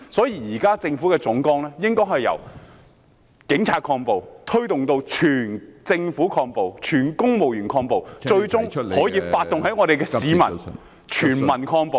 因此，政府現時的總綱應該是由警察抗暴，推動至整個政府、全體公務員抗暴，最終可發動全民抗暴。